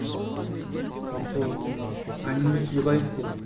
жалпы әңгімелесуге дайынсыз ғой